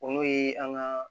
O n'o ye an ka